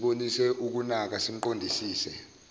sibonise ukunaka simqondisise